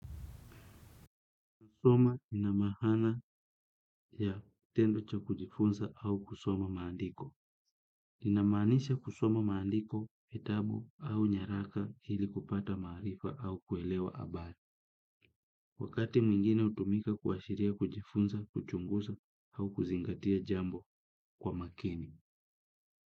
Kusoma ina maaana ya kitendo cha kujifunza au kusoma maandiko. Inamaanisha kusoma maandiko, vitabu au nyaraka hili kupata maarifa au kuelewa habari. Wakati mwingine hutumika kuashiria kujifunza kuchunguza au kuzingatia jambo kwa makini.